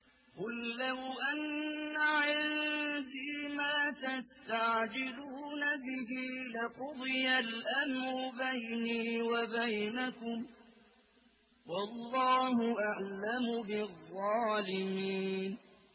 قُل لَّوْ أَنَّ عِندِي مَا تَسْتَعْجِلُونَ بِهِ لَقُضِيَ الْأَمْرُ بَيْنِي وَبَيْنَكُمْ ۗ وَاللَّهُ أَعْلَمُ بِالظَّالِمِينَ